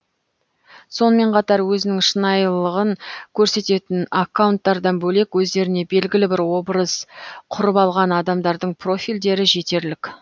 сонымен қатар өзінің шынайылығын көрсететін аккаунтардан бөлек өздеріне белгілі бір образ құрып алған адамдардың профильдері жетерлік